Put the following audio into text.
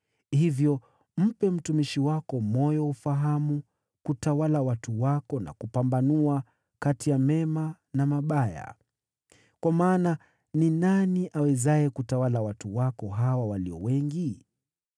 Hivyo mpe mtumishi wako moyo wa ufahamu ili kutawala watu wako na kupambanua kati ya mema na mabaya. Kwa maana, ni nani awezaye kutawala watu wako hawa walio wengi hivi?”